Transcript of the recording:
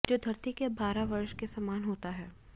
जो धरती के बारह वर्ष के समान होता हैं